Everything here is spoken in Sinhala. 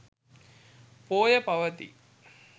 පෝය පවතී.